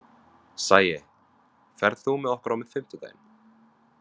Sæi, ferð þú með okkur á fimmtudaginn?